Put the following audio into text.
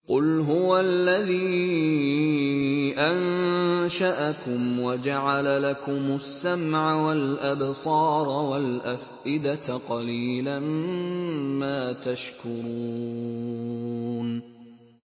قُلْ هُوَ الَّذِي أَنشَأَكُمْ وَجَعَلَ لَكُمُ السَّمْعَ وَالْأَبْصَارَ وَالْأَفْئِدَةَ ۖ قَلِيلًا مَّا تَشْكُرُونَ